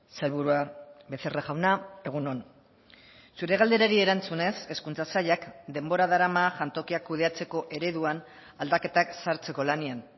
sailburua becerra jauna egun on zure galderari erantzunez hezkuntza sailak denbora darama jantokiak kudeatzeko ereduan aldaketak sartzeko lanean